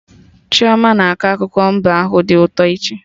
Chioma na-akọ akụkọ mbe ahụ dị ụtọ echi